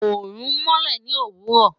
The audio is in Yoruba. Oorun nmọlẹ ni owurọ